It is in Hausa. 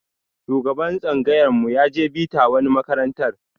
Shugaban tsangayar mu ya je bita wani makarantar